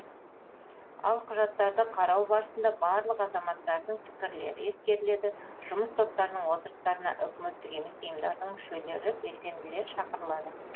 ал құжаттарды қарау барысында барлық азаматтардың пікірлері ескеріледі жұмыс топтарының отырыстарына үкіметтік емес ұйымдардың мүшелері белсенділер шақырылады